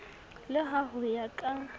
le ha ho ya ka